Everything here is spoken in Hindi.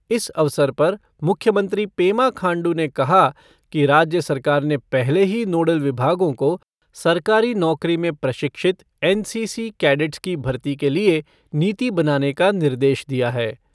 इस अवसर पर मुख्यमंत्री पेमा खांडू ने कहा कि राज्य सरकार ने पहले ही नोडल विभागो को सरकारी नौकरी में प्रशिक्षित एन सी सी कैडेट्स की भर्ती के लिए नीति बनाने का निर्देश दिया है।